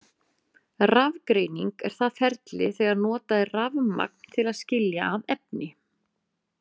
Rafgreining er það ferli þegar notað er rafmagn til að skilja að efni.